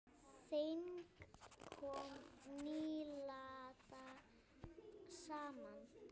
Þing kom nýlega saman.